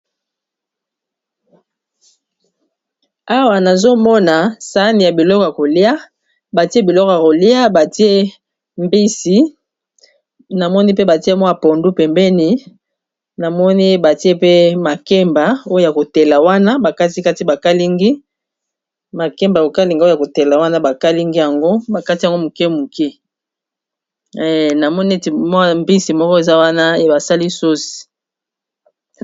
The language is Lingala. Awa nazomona sani ya biloko ya kolia, batie biloko ya kolia batie mbisi namoni pe batie mwa pondu pembeni namoni batie pe makemba oya kotela wana ba kati kati bakalingi makemba kokalinga o ya kotela wana bakalingi yango bakati yango moke moke namoni neti mwa mbisi moko eza wana basali susi.